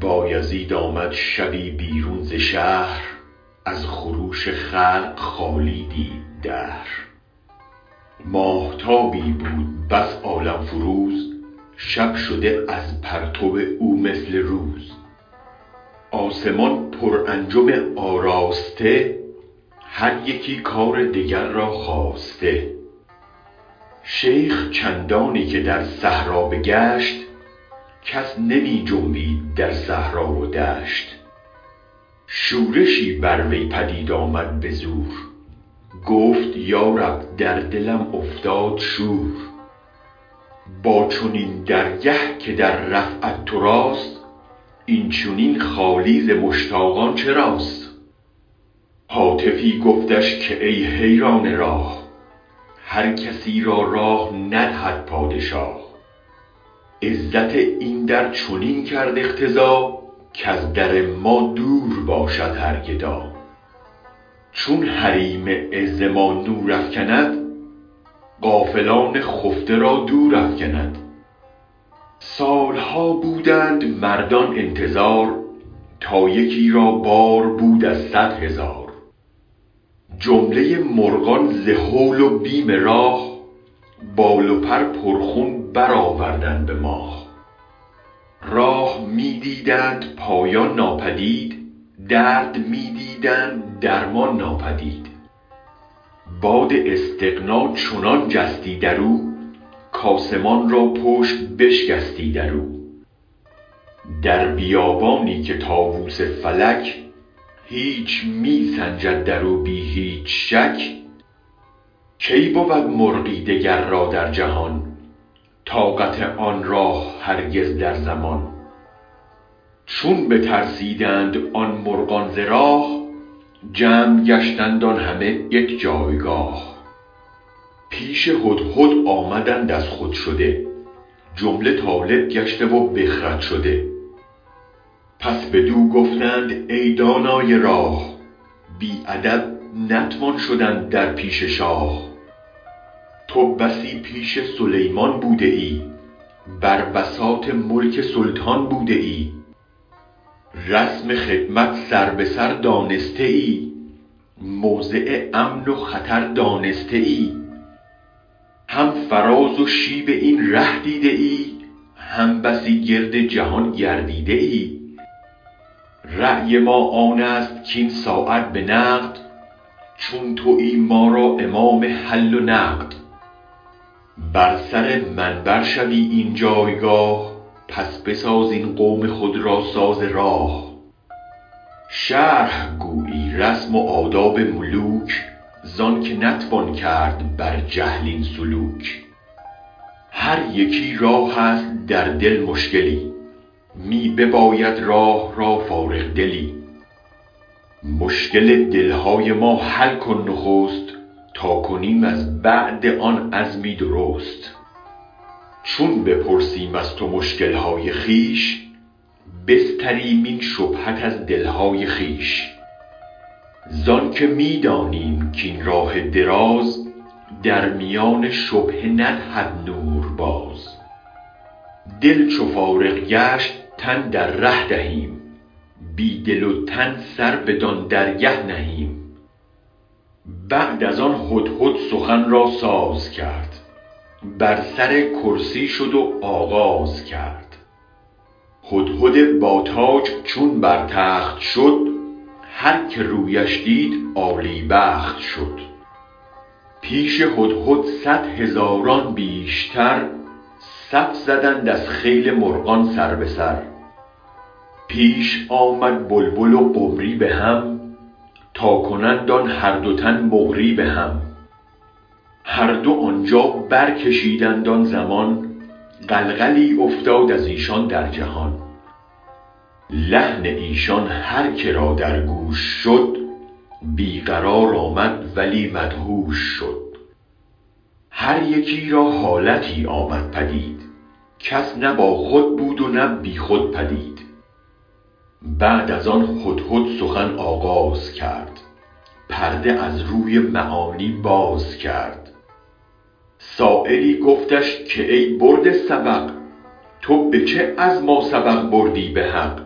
بایزید آمد شبی بیرون ز شهر از خروش خلق خالی دید دهر ماهتابی بود بس عالم فروز شب شده از پرتو او مثل روز آسمان پر انجم آراسته هر یکی کار دگر را خاسته شیخ چندانی که در صحرا بگشت کس نمی جنبید در صحرا و دشت شورشی بر وی پدید آمد به زور گفت یا رب در دلم افتاد شور با چنین درگه که در رفعت تو راست این چنین خالی ز مشتاقان چراست هاتفی گفتش که ای حیران راه هر کسی را راه ندهد پادشاه عزت این در چنین کرد اقتضا کز در ما دور باشد هر گدا چون حریم عز ما نور افکند غافلان خفته را دور افکند سالها بودند مردان انتظار تا یکی را بار بود از صد هزار جمله مرغان ز هول و بیم راه بال و پر پرخون برآوردند آه راه می دیدند پایان ناپدید درد می دیدند درمان ناپدید باد استغنا چنان جستی درو کاسمان را پشت بشکستی درو در بیابانی که طاووس فلک هیچ می سنجد درو بی هیچ شک کی بود مرغی دگر را در جهان طاقت آن راه هرگز یک زمان چون بترسیدند آن مرغان ز راه جمع گشتند آن همه یک جایگاه پیش هدهد آمدند از خود شده جمله طالب گشته و بی خود شده پس بدو گفتند ای دانای راه بی ادب نتوان شدن در پیش شاه تو بسی پیش سلیمان بوده ای بر بساط ملک سلطان بوده ای رسم خدمت سر به سر دانسته ای موضع امن و خطر دانسته ای هم فراز و شیب این ره دیده ای هم بسی گرد جهان گردیده ای رای ما آنست کاین ساعت به نقد چون تویی ما را امام حل و عقد بر سر منبر شوی این جایگاه پس بساز این قوم خود را ساز راه شرح گویی رسم و آداب ملوک زانکه نتوان کرد بر جهل این سلوک هر یکی را هست در دل مشکلی می بباید راه را فارغ دلی مشکل دل های ما حل کن نخست تا کنیم از بعد آن عزمی درست چون بپرسیم از تو مشکل های خویش بستریم این شبهت از دلهای خویش زآنک می دانیم کاین راه دراز در میان شبهه ندهد نور باز دل چو فارغ گشت تن در ره دهیم بی دل و تن سر بدان درگه نهیم بعد از آن هدهد سخن را ساز کرد بر سر کرسی شد و آغازکرد هدهد با تاج چون بر تخت شد هرکه رویش دید عالی بخت شد پیش هدهد صد هزاران بیشتر صف زدند از خیل مرغان سر به سر پیش آمد بلبل و قمری به هم تا کنند آن هر دو تن مقری به هم هر دو آنجا برکشیدند آن زمان غلغلی افتاد ازیشان در جهان لحن ایشان هرکه را در گوش شد بی قرار آمد ولی مدهوش شد هر یکی را حالتی آمد پدید کس نه باخود بود و نه بی خود پدید بعد از آن هدهد سخن آغازکرد پرده از روی معانی بازکرد سایلی گفتش که ای برده سبق تو به چه از ماسبق بردی به حق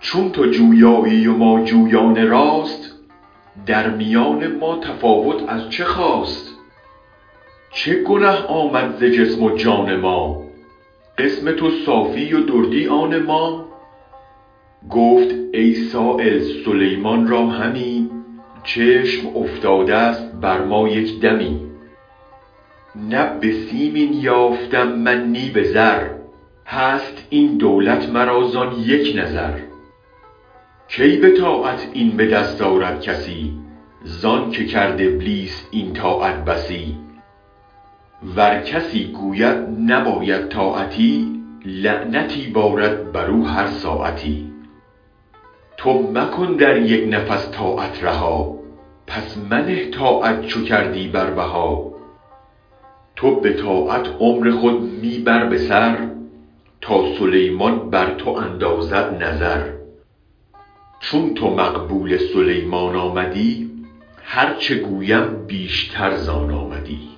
چون تو جویایی و ما جویان راست در میان ما تفاوت از چه خاست چه گنه آمد ز جسم و جان ما قسم تو صافی و دردی آن ما گفت ای سایل سلیمان را همی چشم افتادست بر ما یک دمی نه به سیم این یافتم من نی به زر هست این دولت مرا زان یک نظر کی به طاعت این به دست آرد کسی زانکه کرد ابلیس این طاعت بسی ور کسی گوید نباید طاعتی لعنتی بارد برو هر ساعتی تو مکن در یک نفس طاعت رها پس منه طاعت چو کردی بر بها تو به طاعت عمر خود می بر به سر تا سلیمان بر تو اندازد نظر چون تو مقبول سلیمان آمدی هرچ گویم بیشتر زان آمدی